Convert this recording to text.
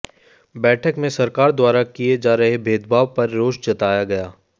बैठक में सरकार द्वारा किए जा रहे भेदभाव पर रोष जताया गया